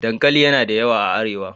Dankali yana da yawa a Arewa.